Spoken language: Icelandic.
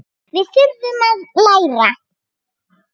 Við þurfum að læra.